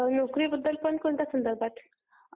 हं, नोकरीबद्दल पण कोणत्या संदर्भात ?